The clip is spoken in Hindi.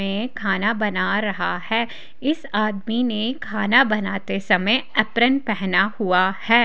में खाना बना रहा है इस आदमी ने खाना बनाते समय अप्रिन पहना हुआ है।